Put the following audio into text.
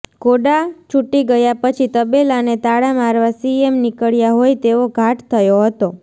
ઘોડા છૂટી ગયા પછી તબેલાને તાળા મારવા સીએમ નિકળ્યા હોય તેવો ઘાટ થયો હતો